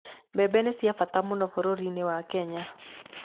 Mbembe nĩ ciabata mũno bũrũri-inĩ wa Kenya.